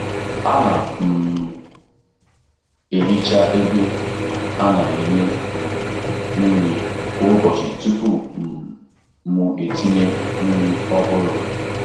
Ana um m ehicha ebe a na-enye um nri kwa ụbọchị tupu um m tinye nri ọhụrụ.